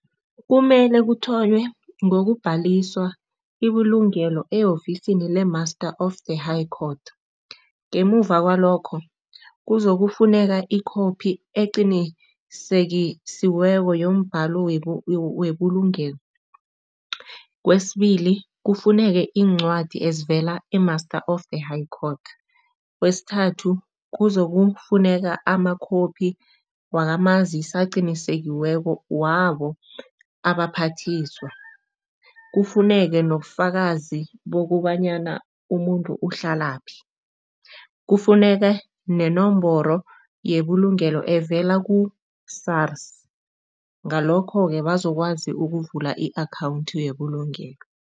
Kumele kuthonywe ngokubhaliswa ibulungelo e-ofisini le-master of the high court, ngemuva kwalokho kuzokufuneka ikhophi eqinisekisiweko yombhalo webulungelo. Kwesibili, kufuneke iincwadi ezivela e-Master of the High Court. Kwesithathu, kuzokufuneka amakhophi wakamazisi aqinisekisiweko wabo abaphathiswa. Kufuneke nobufakazi bokobanyana umuntu uhlalaphi, kufuneke nenomboro yebulungelo evela ku-SARS, ngalokho-ke bazokwazi ukuvula i-akhawundi yebulungelo.